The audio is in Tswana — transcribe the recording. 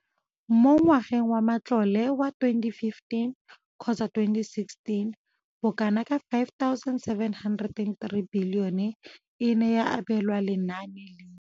Mo ngwageng wa matlole wa 2015,16, bokanaka R5 703 bilione e ne ya abelwa lenaane leno.